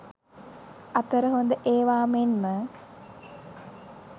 අතර හොද ඒවා මෙන්ම